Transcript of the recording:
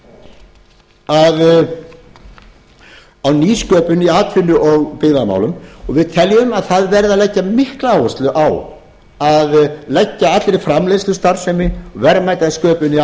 leggjum áherslu á nýsköpun í atvinnu og byggðamálum og við teljum að það verði að leggja mikla áherslu á að leggja allri framleiðslustarfsemi verðmætasköpun í